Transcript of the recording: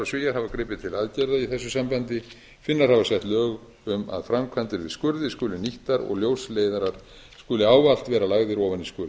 svíar hafa gripið til aðgerða í þessu sambandi finnar hafa sett lög um að framkvæmdir við skurði skuli nýttar og ljósleiðarar skulu ávallt vera lagðir ofan í skurði